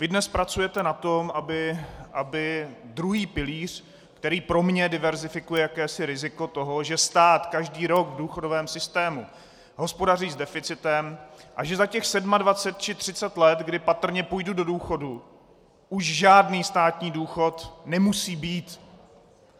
Vy dnes pracujete na tom, aby druhý pilíř, který pro mě diverzifikuje jakési riziko toho, že stát každý rok v důchodovém systému hospodaří s deficitem a že za těch 27 či 30 let, kdy patrně půjdu do důchodu, už žádný státní důchod nemusí být.